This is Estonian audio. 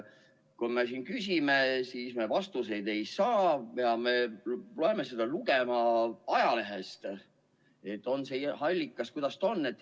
Kui me siin küsime, siis me vastuseid ei saa, peame neid lugema ajalehest – on see nende allikas siis, mis ta on.